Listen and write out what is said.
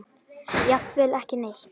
Jafnvel ekki neitt.